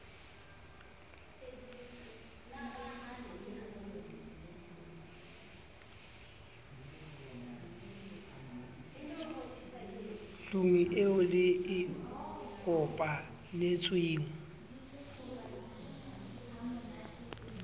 tlung eo le e kopanetsweng